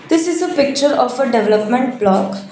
this is a picture of a development block.